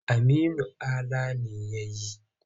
Aminu Ala ne ya yi.